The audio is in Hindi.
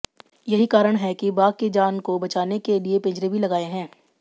यही कारण है की बाघ की जान को बचाने के लिए पिंजरे भी लगाए हैं